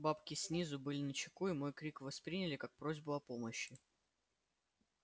бабки снизу были начеку и мой крик восприняли как просьбу о помощи